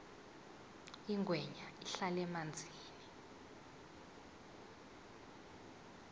ingwenya ihlala emanzini